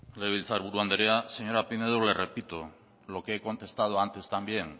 legebiltzar buru andrea señora pinedo le repito lo que he contestado antes también